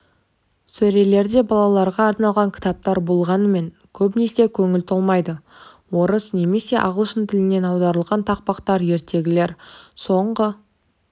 сөрелерде балаларға арналған кітаптар болғанымен көбісіне көңіл толмайды орыс немесе ағылшын тілінен аударылған тақпақтар ертегілер соңғы